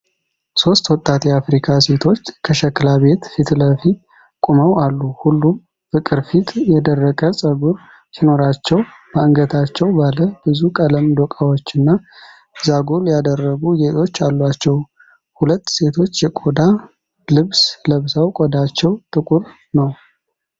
ሶስት ወጣት የአፍሪካ ሴቶች ከሸክላ ቤት ፊት ለፊት ቆመው አሉ። ሁሉም በቅርፊት የደረቀ ፀጉር ሲኖራቸው፣ በአንገታቸው ባለ ብዙ ቀለም ዶቃዎችና ዛጎል ያደረጉ ጌጦች አሏቸው። ሁለት ሴቶች የቆዳ ልብስ ለብሰው፣ ቆዳቸው ጥቁር ነው።